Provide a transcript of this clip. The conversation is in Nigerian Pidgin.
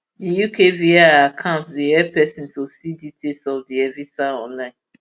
di ukvi account dey help pesin to see details of di evisa online